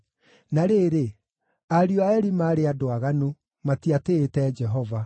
Na rĩrĩ, ariũ a Eli maarĩ andũ aaganu; matiatĩĩte Jehova.